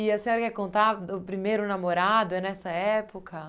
E a senhora quer contar do primeiro namorado nessa época?